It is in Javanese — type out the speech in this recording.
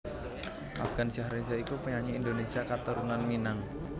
Afgansyah Reza iku penyanyi Indonésia katurunan Minang